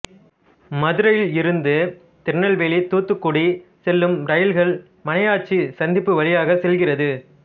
மதுரையிலிருந்து திருநெல்வேலி தூத்துக்குடி செல்லும் இரயில்கள் மணியாச்சி சந்திப்பு வழியாகச் செல்கிறது